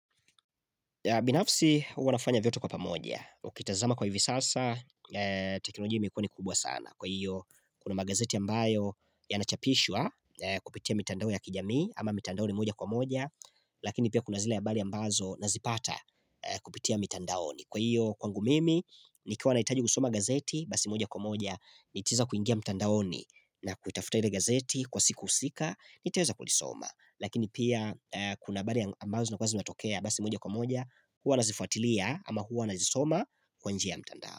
Binafsi huwa nafanya vyote kwa pamoja, ukitazama kwa hivi sasa, teknolojia imekuwa ni kubwa sana. Kwa hiyo, kuna magazeti ambayo ya nachapishwa kupitia mitandaoni ya kijamii ama mitandaoni moja kwa moja, lakini pia kuna zila ya habari ambazo nazipata kupitia mitandaoni. Ni kwa hiyo kwangu mimi, ni nikiwa nahitaji kusoma gazeti, basi moja kwa moja, nitaweza kuingia mtandaoni na kuitafuta ile gazeti kwa siku husika, nitaweza kulisoma. Lakini pia kuna habari ambazo zinakuwa zinatokea, basi moja kwa moja, huwa nazifuatilia ama huwa nazisoma kwa njia ya mtandao.